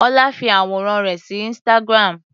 Ọlá fi àwòrán rẹ̀ sí instagram.